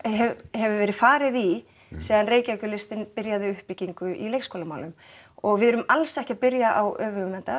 hefur verið farið í síðan Reykjavíkurlistinn byrjaði uppbyggingu í leikskólamálum og við erum alls ekki að byrja á öfugum enda